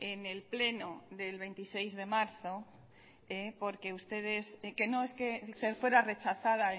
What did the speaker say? en el pleno del veintiséis de marzo porque ustedes que no es que fuera rechazada